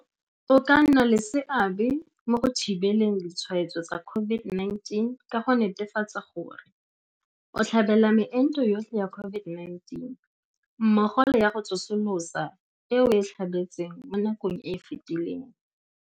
O ka nna le seabe mo go thibeleng ditshwaetso tsa COVID-19 ka go netefatsa gore, O tlhabela meento yotlhe ya COVID-19 mmogo le ya go tsosolosa e o e tlhabetseng mo nakong e e fetileng.